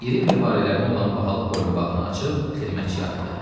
İri mirvarilərdən olan bahalı boyunbağını açıb xidmətçiyə atdı.